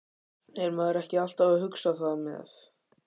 Er maður ekki alltaf að hugsa það með?